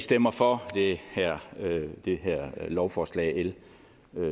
stemmer for det her lovforslag l